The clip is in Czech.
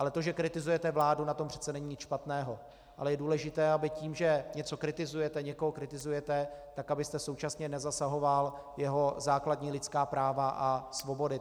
Ale to, že kritizujete vládu, na tom přeci není nic špatného, ale je důležité, aby tím, že něco kritizujete, někoho kritizujete, tak abyste současně nezasahoval jeho základní lidská práva a svobody.